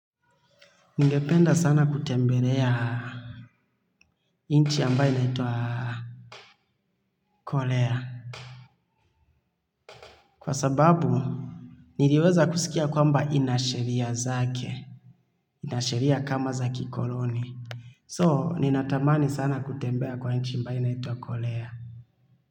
Ningependa sana kutembelea nchi ambayo inaitwa Korea. Kwa sababu niliweza kusikia kwamba inasheria zake. Inasheria kama za kikoloni. So, ninatamani sana kutembea kwa nchi ambayo inaitwa Korea.